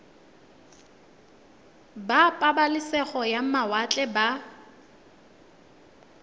ba pabalesego ya mawatle ba